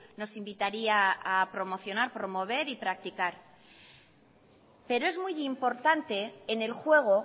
nos invitaría a promocionar promover y practicar pero es muy importante en el juego